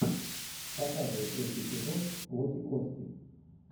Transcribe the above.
показывай третий эпизод плоть и кости